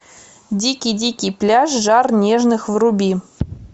дикий дикий пляж жар нежных вруби